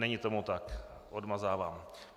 Není tomu tak, odmazávám.